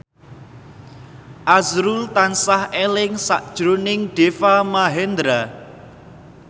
azrul tansah eling sakjroning Deva Mahendra